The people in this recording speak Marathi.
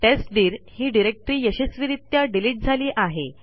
टेस्टदीर ही डिरेक्टरी यशस्वीरित्या डिलीट झाली आहे